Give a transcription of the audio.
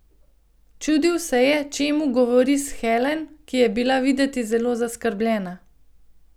Čudil se je, čemu govori s Helen, ki je bila videti zelo zaskrbljena.